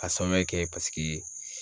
A sababuya kɛ paseke